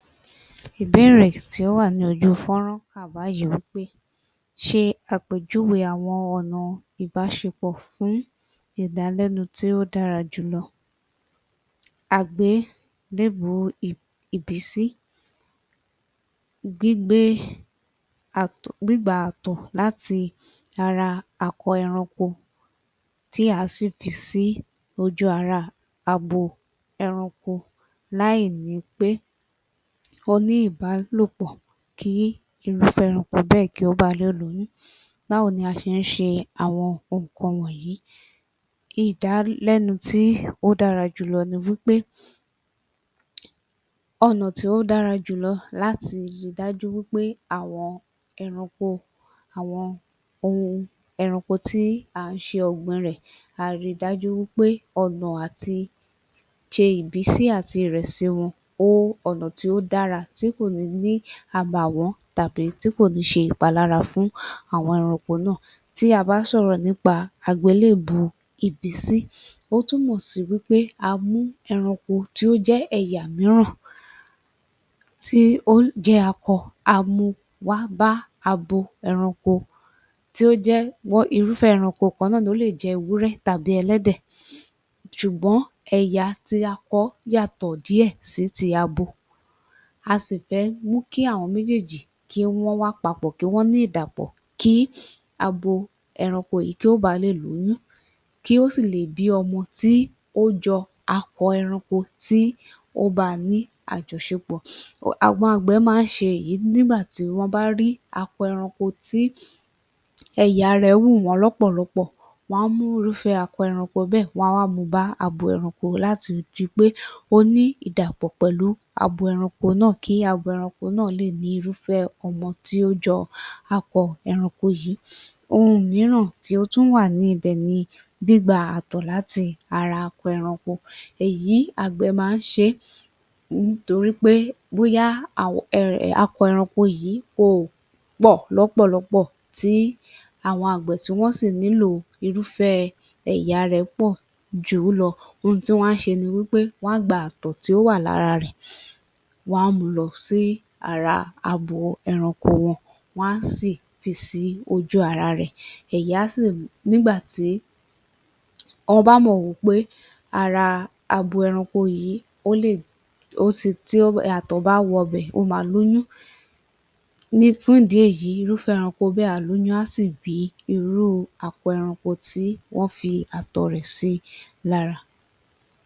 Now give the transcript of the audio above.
Ìbéèrè tí ó wà ní ojú fúnrán wà báyìí wípé,